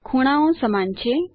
ખૂણાઓ સમાન છે